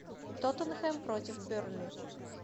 тоттенхэм против бернли